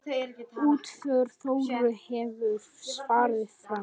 Útför Þóru hefur farið fram.